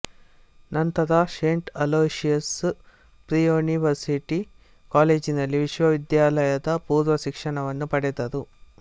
ನಂತರ saint Aloysius pre-university ಕಾಲೇಜಿನಲ್ಲಿ ವಿಶ್ವವಿದ್ಯಾಲಯದ ಪೂರ್ವ ಶಿಕ್ಷಣವನ್ನು ಪಡೆದರು